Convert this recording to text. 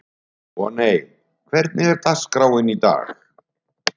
Voney, hvernig er dagskráin í dag?